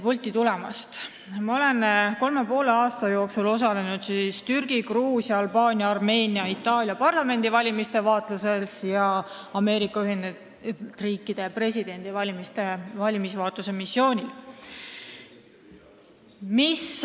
Ma olen kolme ja poole aasta jooksul osalenud Türgi, Gruusia, Albaania, Armeenia ja Itaalia parlamendivalimiste vaatlemisel ning Ameerika Ühendriikide presidendivalimiste valimisvaatluse missioonil.